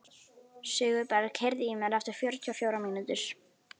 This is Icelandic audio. Sigurberg, heyrðu í mér eftir fjörutíu og fjórar mínútur.